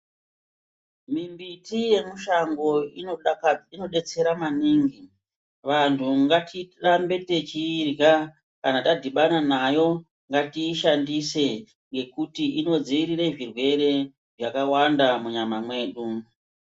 Mimbiti yemushango inodaka inodetsera maningi. Vantu gatirambe techiirya kana tadhibana nayo, ngatiishandise ngekuti inodziirire zvirwere zvakawanda munyama mwedu.